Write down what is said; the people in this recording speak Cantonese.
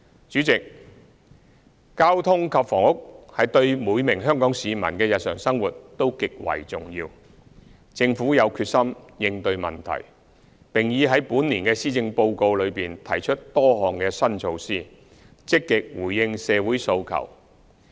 主席，交通及房屋對每名香港市民的日常生活都極為重要，政府有決心應對問題，並已在本年的施政報告中提出多項新措施，積極回應社會訴求。